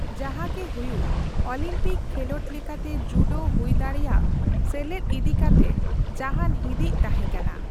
ᱡᱟᱦᱟᱸᱜᱮ ᱦᱩᱭᱩᱜ, ᱚᱞᱤᱢᱯᱤᱠ ᱠᱷᱮᱞᱚᱸᱰ ᱞᱮᱠᱟᱛᱮ ᱡᱩᱰᱳ ᱦᱩᱭᱫᱟᱲᱮᱭᱟᱜ ᱥᱮᱞᱮᱫ ᱤᱫᱤᱠᱟᱛᱮ ᱡᱟᱦᱟᱸᱱ ᱦᱤᱸᱫᱤᱡ ᱛᱟᱦᱮᱸ ᱠᱟᱱᱟ ᱾